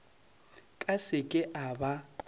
ka se ke a ba